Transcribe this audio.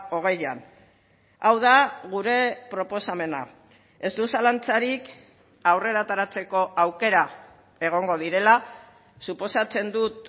hogeian hau da gure proposamena ez dut zalantzarik aurrera ateratzeko aukera egongo direla suposatzen dut